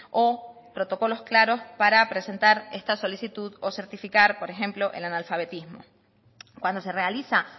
o protocolos claros para presentar esta solicitud o certificar por ejemplo el analfabetismo cuando se realiza